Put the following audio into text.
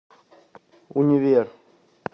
универ